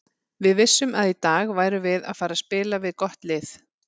Við vissum að í dag værum við að fara spila við gott lið.